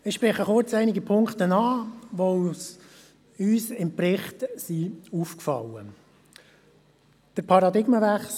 Ich spreche kurz einige Punkte an, die uns im Bericht aufgefallen sind.